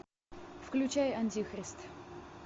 включай антихрист